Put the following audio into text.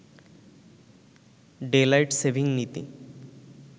daylight saving নীতি